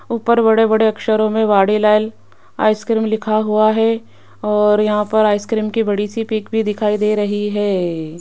ऊपर बड़े-बड़े अक्षरों मे वाडीलाल आइसक्रीम लिखा हुआ है और यहां पर आइसक्रीम की बड़ी सी पिक भी दिखाई दे रही है।